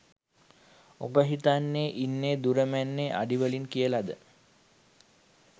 උඹ හිතන් ඉන්නෙ දුර මැන්නෙ අඩි වලින් කියලද?